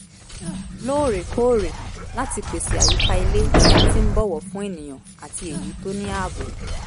lóòrèkóòrè láti pèsè àyíká ilé tí a ti ń bọ̀wọ̀ fún ènìyàn àti èyí tó ní ààbò